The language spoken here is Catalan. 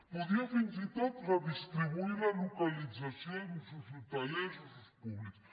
podia fins i tot redistribuir la localització d’usos hotelers usos públics